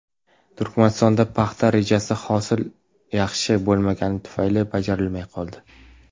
Turkmanistonda paxta rejasi hosil yaxshi bo‘lmaganligi tufayli bajarilmay qoldi.